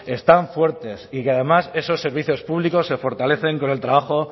están fuertes y que además esos servicios públicos se fortalecen con el trabajo